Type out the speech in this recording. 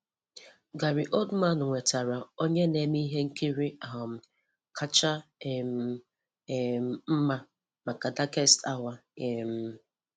Gary Oldman nwetara 'Onye n'eme ihe nkiri um kacha um um mma' maka Darkest Hour. um